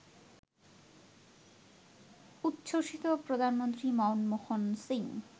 উচ্ছ্বসিত প্রধানমন্ত্রী মনমোহন সিং